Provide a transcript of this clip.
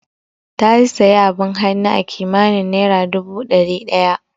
Ta sayi abin hannu akimanin naira dubu dari daya